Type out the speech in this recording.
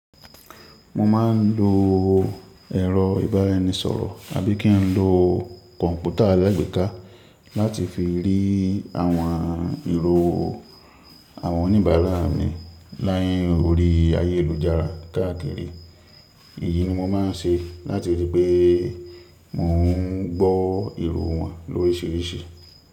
Mo ma n lo ẹ̀rọ ìbáraẹnisọ̀rọ̀ àbí kí n lo kọ̀ǹpútà alágbèéká láti fi rí àwọn èrò àwọn oníbàárà mi line orí ayélujára káàkiri. Èyí ni mo má n ṣe láti ri pé mò n gbó èrò wọn lórisirisi.